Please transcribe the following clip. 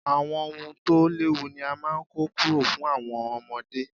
Àwọn ohun tó léwu ni a máa ń kọ́ kúrò fún àwọn ọmọdé.